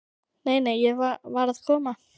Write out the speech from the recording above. Nei, nei, ég var að koma.